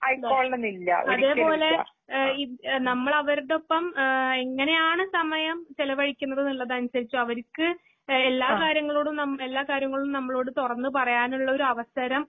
അതേപോലെ ഏഹ്ഇഹ്ഏ നമ്മളവരുടൊപ്പം ഏഹ്ഇങ്ങനെയാണ് ചെലവഴിക്കുന്നതിനനുസരിച്ചൊ അവരിക്ക് എഎല്ലാകാര്യങ്ങളോടും നമ് എല്ലാകാര്യങ്ങളുംനമ്മളോട്തൊറന്ന്പറയാനുള്ളൊരവസരം